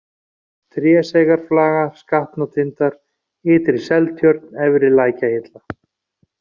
Tréseyjarflaga, Skatnatindar, Ytri-Seltjörn, Efri-Lækjahilla